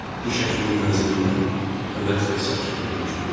Diş həkiminin mənzilində əvvəlki sakitlik hökm sürürdü.